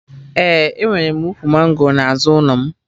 Ee, enwere m ukwu mango n'azụ ụlọ m